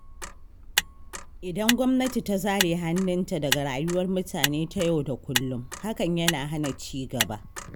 Idan gwamnati ta zare hannunta daga rayuwar mutane ta yau da kullum, hakan yana hana cigaba.